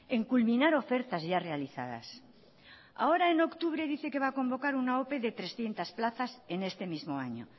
en culminar ofertas ya realizadas ahora en octubre dice que va a convocar una ope de trescientos plazas en este mismo año